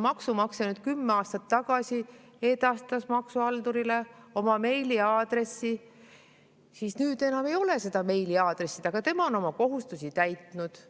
maksumaksja kümme aastat tagasi edastas maksuhaldurile oma meiliaadressi, siis nüüd enam ei ole seda meiliaadressi, aga tema on oma kohustuse täitnud.